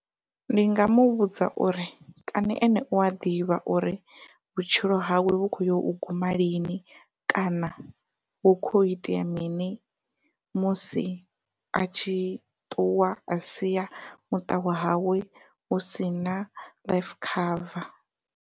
Ndi nga muvhudza uri kani ene ua ḓivha uri vhutshilo hawe vhu kho yo u guma lini kana hu kho ya itea mini musi a tshi ṱuwa a sia muṱa wa hawe hu sina life cover.